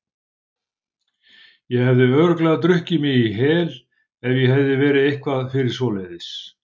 Ég hefði örugglega drukkið mig í hel ef ég hefði verið eitthvað fyrir svoleiðis.